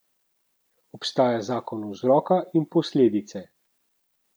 Obstaja zakon vzroka in posledice.